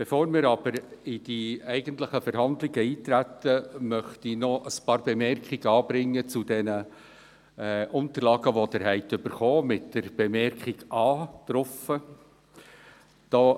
Bevor wir in die eigentlichen Verhandlungen eintreten, möchte ich ein paar Bemerkungen anbringen zu den Ihnen ausgeteilten Unterlagen, welche mit dem Vermerk «A» versehen sind.